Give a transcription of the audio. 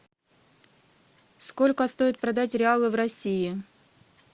сколько стоит продать реалы в россии